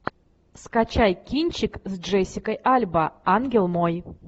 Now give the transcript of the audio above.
скачай кинчик с джессикой альба ангел мой